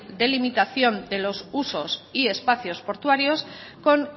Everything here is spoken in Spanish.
delimitación de los usos y espacios portuarios con